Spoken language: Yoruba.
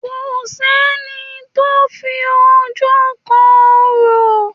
Kò sẹ́ni tó fi ojú kan Orò.